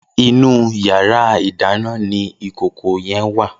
Inú iyàrá idàná ni ikókó yèn wá